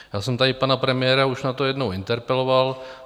Já jsem tady pana premiéra už na to jednou interpeloval.